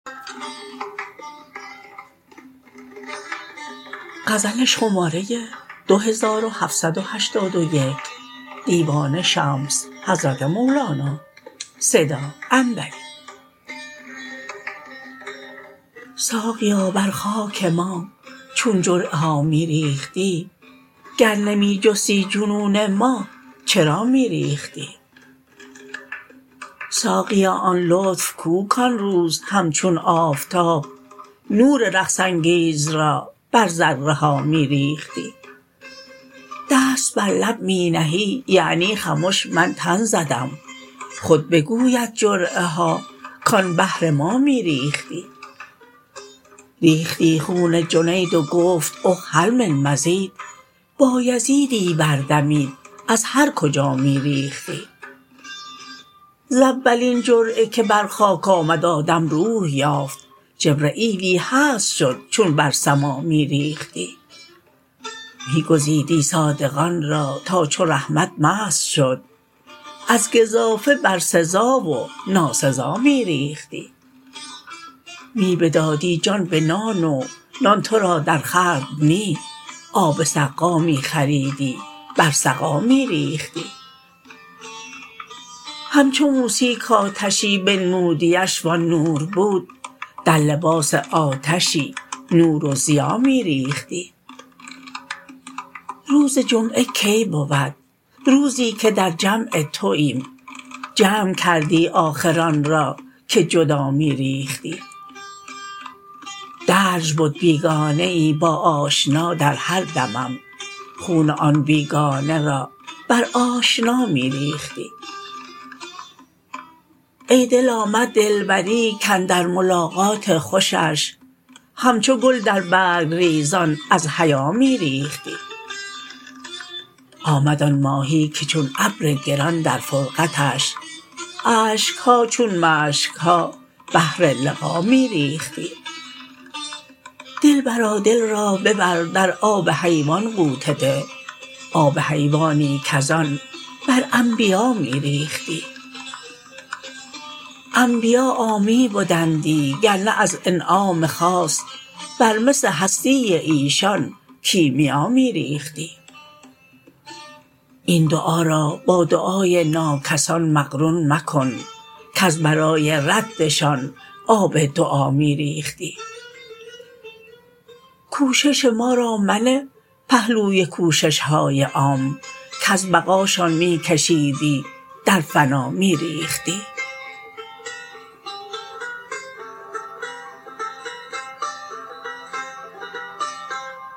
ساقیا بر خاک ما چون جرعه ها می ریختی گر نمی جستی جنون ما چرا می ریختی ساقیا آن لطف کو کان روز همچون آفتاب نور رقص انگیز را بر ذره ها می ریختی دست بر لب می نهی یعنی خمش من تن زدم خود بگوید جرعه ها کان بهر ما می ریختی ریختی خون جنید و گفت اخ هل من مزید بایزیدی بردمید از هر کجا می ریختی ز اولین جرعه که بر خاک آمد آدم روح یافت جبرییلی هست شد چون بر سما می ریختی می گزیدی صادقان را تا چو رحمت مست شد از گزافه بر سزا و ناسزا می ریختی می بدادی جان به نان و نان تو را درخورد نی آب سقا می خریدی بر سقا می ریختی همچو موسی کآتشی بنمودیش وآن نور بود در لباس آتشی نور و ضیا می ریختی روز جمعه کی بود روزی که در جمع توییم جمع کردی آخر آن را که جدا می ریختی درج بد بیگانه ای با آشنا در هر دمم خون آن بیگانه را بر آشنا می ریختی ای دل آمد دلبری کاندر ملاقات خوشش همچو گل در برگ ریزان از حیا می ریختی آمد آن ماهی که چون ابر گران در فرقتش اشک ها چون مشک ها بهر لقا می ریختی دلبرا دل را ببر در آب حیوان غوطه ده آب حیوانی کز آن بر انبیا می ریختی انبیا عامی بدندی گر نه از انعام خاص بر مس هستی ایشان کیمیا می ریختی این دعا را با دعای ناکسان مقرون مکن کز برای ردشان آب دعا می ریختی کوشش ما را منه پهلوی کوشش های عام کز بقاشان می کشیدی در فنا می ریختی